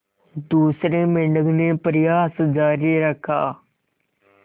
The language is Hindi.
दूसरे मेंढक ने प्रयास जारी रखा